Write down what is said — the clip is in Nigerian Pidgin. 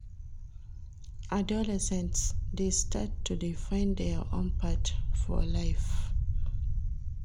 Adolescents dey start to dey find their own path for life.